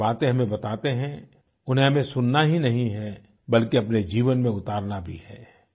ये जो बातें हमें बताते हैं उन्हें हमें सुनना ही नहीं है बल्कि अपने जीवन में उतारना भी है